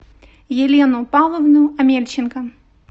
елену павловну омельченко